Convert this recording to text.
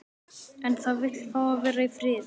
En það vill fá að vera í friði.